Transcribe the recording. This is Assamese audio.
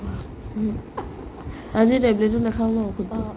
আজি tablet তো নাখাও ন